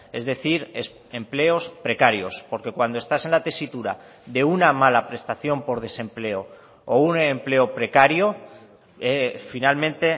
es decir empleos precarios porque cuando estás en la tesitura de una mala prestación por desempleo o un empleo precario finalmente